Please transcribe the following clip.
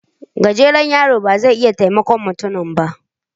Gajeren yaron ba zai iya taimakon mutumin ba